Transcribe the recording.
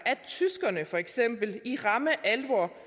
at tyskerne for eksempel i ramme alvor